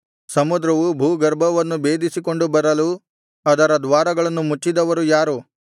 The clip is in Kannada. ಸಮುದ್ರವು ಭೂಗರ್ಭವನ್ನು ಭೇದಿಸಿಕೊಂಡು ಬರಲು ಅದರ ದ್ವಾರಗಳನ್ನು ಮುಚ್ಚಿದವರು ಯಾರು